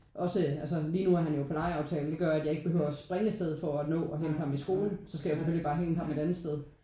Også altså lige nu er han jo på legeaftale det gør at jeg ikke behøver at springe afsted for at nå at hente ham i skolen. Så skal jeg selvfølgelig bare hente ham et andet sted